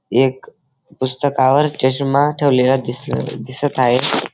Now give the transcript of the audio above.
एक पुस्तकावर चष्मा ठेवलेला दिस दिसत आहे.